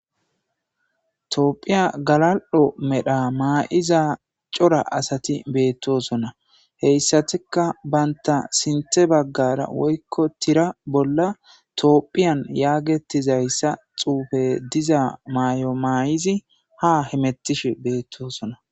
toophiya galal7o medha maa7iza cora asati beettosonna heyssatikka banta sinthe baggara woykko tira bolla toophiyan yaagetizayssa xuufe diza may7o mayizi ha himettish beettosona